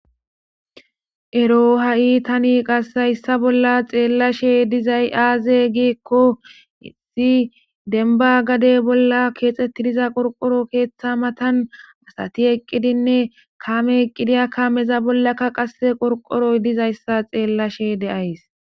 Ero ha7i tani qassayssa bolla xeellashe dizay aaze giekko isi denba gade bolla keexxettidiza qorqoro keeththa matan asati eqqidinne kaame eqqidiya kaameza bollakka qase qorqoroy dizayssa xeellashe deays.